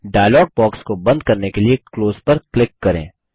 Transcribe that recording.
dialogue box को बंद करने के लिए क्लोज पर क्लिक करें